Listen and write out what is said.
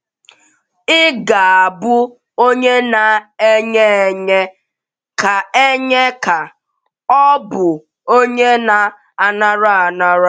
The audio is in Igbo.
“ Ị̀ Ga - abụ Onye Na - enye Enye Ka Enye Ka Ọ Bụ Onye Na - anara Anara? ”